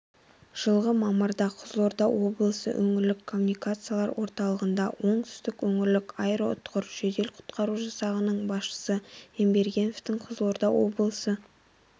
жылғы мамырда қызылорда облысы өңірлік коммуникациялар орталығында оңтүстік өөңірлік аэроұтқыр жедел-құтқару жасағының басшысы ембергеновтің қызылорда облысы